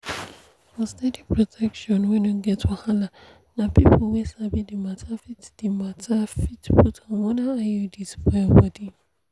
for steady protection wey no get wahala na people wey sabi the matter fit the matter fit put hormonal iuds for your body.